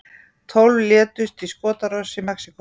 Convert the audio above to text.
Tólf létust í skotárás í Mexíkó